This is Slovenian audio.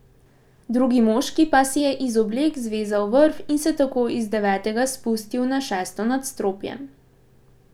Drugi moški pa si je iz oblek zvezal vrv in se tako iz devetega spustil na šesto nadstropje.